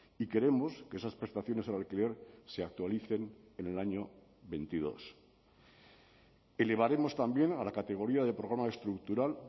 y queremos que esas prestaciones al alquiler se actualicen en el año veintidós elevaremos también a la categoría de programa estructural